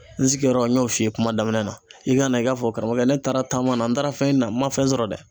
N sigiyɔrɔ n y'o f'i ye kuma daminɛ na i ka na i ka fɔ karamɔgɔkɛ ne taara taama na n taara fɛn ɲinina ma fɛn sɔrɔ dɛ